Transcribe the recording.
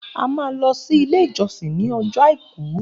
A máa lọ sí ilé ìjọsìn ní ọjọ́ àìkú